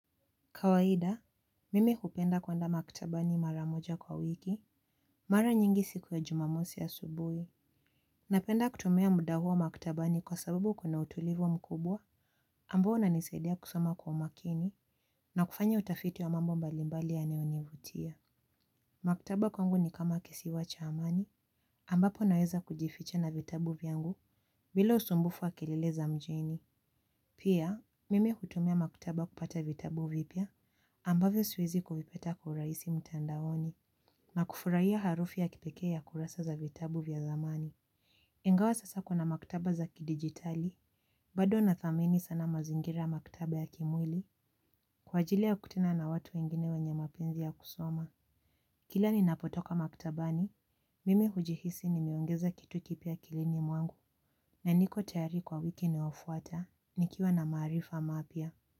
Kawaida, mimi hupenda kuenda maktabani mara moja kwa wiki, mara nyingi siku ya jumamosi asubuhi. Napenda kutumia muda huo maktabani kwa sababu kuna utulivu mkubwa, ambao unanisadia kusoma kwa makini, na kufanya utafiti wa mambo mbalimbali yanayonivutia. Maktaba kwangu ni kama kisiwa cha amani, ambapo naweza kujificha na vitabu vyangu, bila usumbufu wa kelele za mjini. Pia, mimi hutumia maktaba kupata vitabu vipya ambavyo siwezi kuvipata kwa urahisi mtandaoni na kufurahia harufu ya kipekee ya kurasa za vitabu vya zamani. Ingawa sasa kuna maktaba za kidigitali, bado nathamini sana mazingira ya maktaba ya kimwili kwa ajili ya kukutana na watu wengine wenye mapenzi ya kusoma. Kila ninapotoka maktabani, mimi hujihisi nimeongeza kitu kipya akilini mwangu na niko tayari kwa wiki inayofuata nikiwa na maarifa mapya.